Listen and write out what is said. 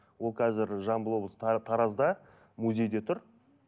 ол қазір жамбыл облысы таразда музейде тұр